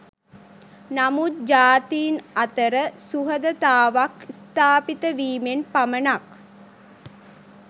නමුත් ජාතීන් අතර සුහදතාවක් ස්ථාපිත වීමෙන් පමණක්